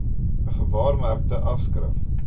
n gewaarmerkte afskrif